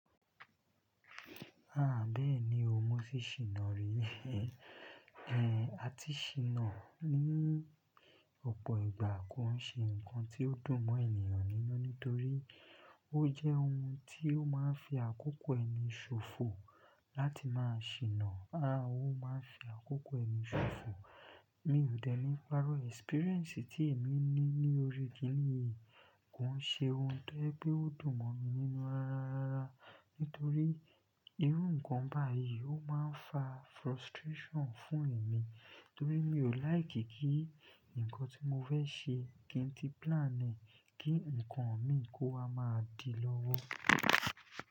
Ah! Bẹ́ẹ̀ni o, mo tì ṣìnà rí. Ehn, àti ṣìnà ní ọ̀pọ̀ ìgbà kò ń ṣe ǹkan tí ó dùn mọ́ ènìyàn nínú, nítorí ó jẹ́ ohun tí ó máa ń fi àkókò ẹni ṣòfò láti máa ṣìnà. Ah! Ó máa ń fi àkókò ẹni ṣòfò. Mi ò dẹ́lẹ̀ párọ́ "experience" tí èmi ní ní orí kini yìí, kò ń ṣe ohun tó jẹ́ pé ó dùn mọ́ mi nínú rárá, nítorí irú ǹkan báyìí ó máa ń fa "frustration" fún èmi, torí mi ò "like" kí ǹkan tí mo fẹ́ ṣe, kí n ti plan e kí ǹkan mi kó wa máa di lọ́wọ́.